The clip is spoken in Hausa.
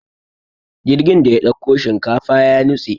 jirgin da ya ɗauko shilafa ya nutse